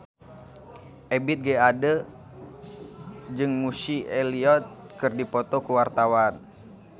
Ebith G. Ade jeung Missy Elliott keur dipoto ku wartawan